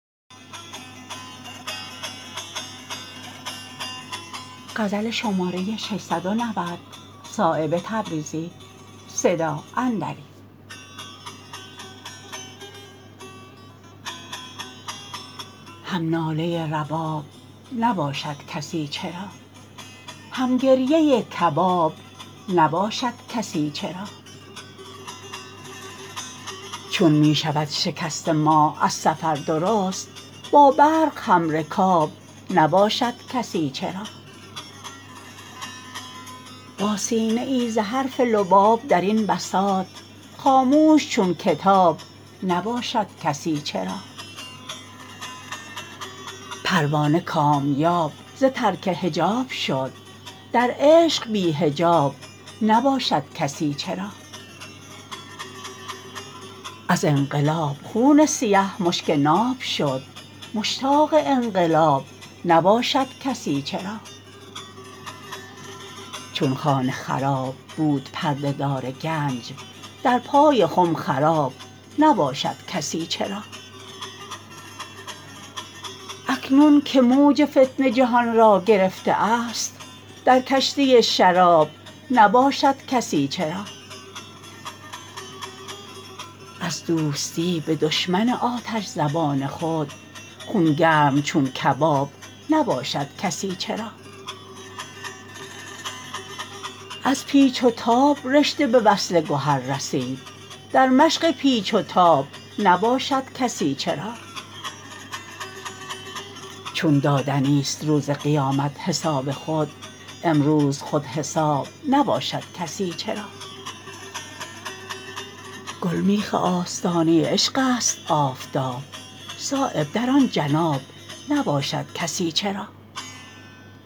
هم ناله رباب نباشد کسی چرا هم گریه کباب نباشد کسی چرا چون می شود شکسته ماه از سفر درست با برق همرکاب نباشد کسی چرا با سینه ای ز حرف لبالب درین بساط خاموش چون کتاب نباشد کسی چرا پروانه کامیاب ز ترک حجاب شد در عشق بی حجاب نباشد کسی چرا از انقلاب خون سیه مشک ناب شد مشتاق انقلاب نباشد کسی چرا چون خانه خراب بود پرده دار گنج در پای خم خراب نباشد کسی چرا اکنون که موج فتنه جهان را گرفته است در کشتی شراب نباشد کسی چرا از دوستی به دشمن آتش زبان خود خونگرم چون کباب نباشد کسی چرا از پیچ و تاب رشته به وصل گهر رسید در مشق پیچ و تاب نباشد کسی چرا چون دادنی است روز قیامت حساب خود امروز خود حساب نباشد کسی چرا گلمیخ آستانه عشق است آفتاب صایب در آن جناب نباشد کسی چرا